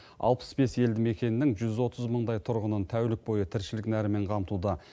алпыс бес елді мекеннің жүз отыз мыңдай тұрғынын тәулік бойы тіршілік нәрімен қамтуда